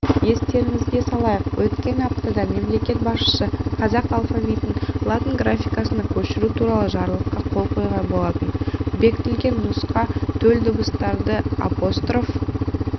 естеріңізге салайық өткен аптада мемлекет басшысы қазақ алфавитін латын графикасына көшіру туралы жарлыққа қол қойған болатын бекітілген нұсқа төл дыбыстарды апостроф